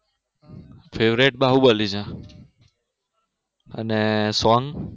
favorite Baahubali છે અને song